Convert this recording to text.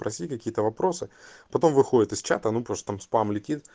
проси какие-то вопросы потом выходит из чата ну просто там спам летит